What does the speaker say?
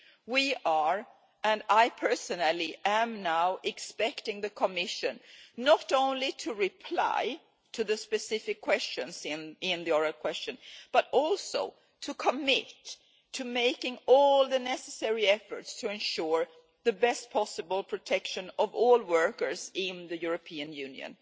We are and I personally am now expecting the Commission not only to reply to the specific points in the oral question but also to commit to making all the necessary efforts to ensure the best possible protection of all workers in the European Union.